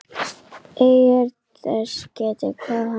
Eigi er þess getið, hvað hann hét.